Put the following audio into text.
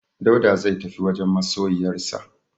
Dauda zai tafi wajen masoyiyarsa.